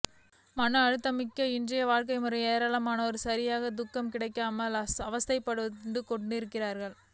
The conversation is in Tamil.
மன அழுத்தமிக்க இன்றைய வாழ்க்கை முறையில் ஏராளமானோர் சரியான தூக்கம் கிடைக்காமல் அவஸ்தைப்பட்டு கொண்டிருக்கின்றனர்